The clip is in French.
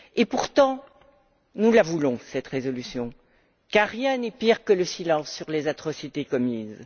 Pourtant, nous la voulons cette résolution, car rien n'est pire que le silence sur les atrocités commises!